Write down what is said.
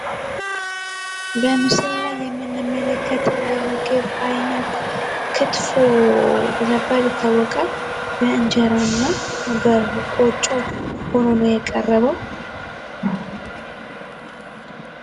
በምስሉ ላይ የምንመለከተው የምግብ ዓይነቶ ክትፎ በመባል ይታወቃል። በእንጀራ እና በቆጮ ነው የቀረበው።